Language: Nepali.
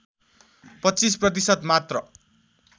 २५ प्रतिशत मात्र